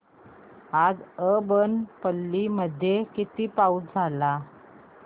आज अब्बनपल्ली मध्ये किती पाऊस झाला